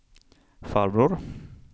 farbror